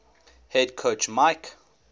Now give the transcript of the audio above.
head coach mike